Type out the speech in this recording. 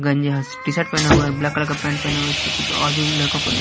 गंजा T shirt पहने हुए और ब्लैक कलर का पैंट पहने हुए इसके पीछे और भी लड़कों को--